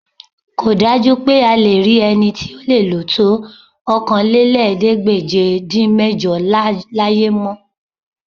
Kò dájú pé a lè rí ẹni tí ó lè lò tó Okòólélẹ́ẹ̀ẹ́dégbèje-dín-mẹ́jọ láyé mọ́